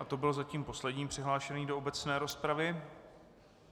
A to byl zatím poslední přihlášený do obecné rozpravy.